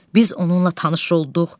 Biz onunla tanış olduq.